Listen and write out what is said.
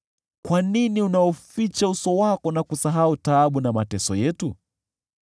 Kwa nini unauficha uso wako na kusahau taabu na mateso yetu?